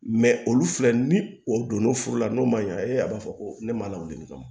olu filɛ ni o donna furu la n'o man ɲa e a b'a fɔ ko ne ma lawuli wa